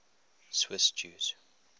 swiss jews